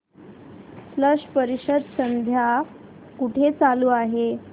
स्लश परिषद सध्या कुठे चालू आहे